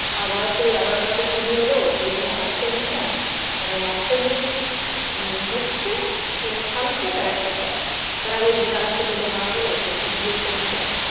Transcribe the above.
আবার সেই আবার কালকে চুরি হলো সেই নিয়ে আবার tension মানে একটা জিনিস ম হচ্ছে মানে থামছে তার একটা start তার আগেই দিদা আর একটা দিদা মারা গেল সেখানে গিয়েও tension